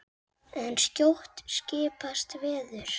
En skjótt skipast veður.